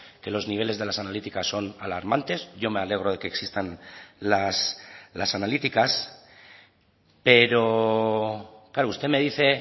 que los niveles de las analíticas son alarmantes yo me alegro de que existan las analíticas pero claro usted me dice